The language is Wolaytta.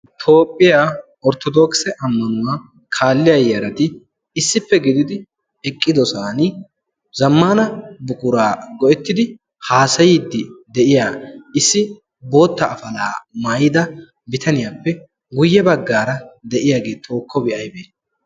toophphiyaa orttodoogse ammanuwaa kaalliya yaarati issippe gididi eqqidosan zammana buquraa go7ettidi haasayiiddi de7iya issi bootta afalaa maayida bitaniyaappe guyye baggaara de7iyaagee xookkobi aibee?